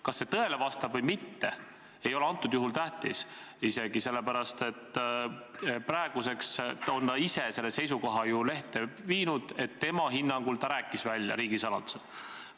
Kas see tõele vastab või mitte, ei ole isegi tähtis, sest praeguseks on ta ise ju lehele avaldanud selle seisukoha, et oma hinnangul rääkis ta riigisaladuse välja.